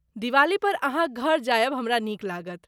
दिवाली पर अहाँक घर जायब हमरा नीक लागत।